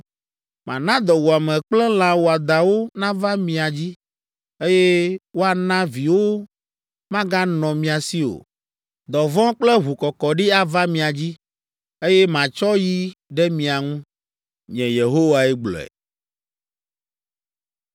Mana dɔwuame kple lã wɔadãwo nava mia dzi, eye woana viwo maganɔ mia si o. Dɔ vɔ̃ kple ʋukɔkɔɖi ava mia dzi, eye matsɔ yi ɖe mia ŋu. Nye Yehowae gblɔe.”